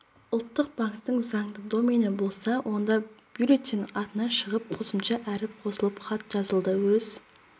ұлттық банктің заңды домені болса онда бюллетень атынан шығып қосымша әріп қосылып хат жазылды өз